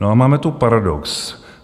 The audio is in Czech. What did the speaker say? No a máme tu paradox.